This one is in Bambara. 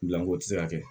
Gilanko tɛ se ka kɛ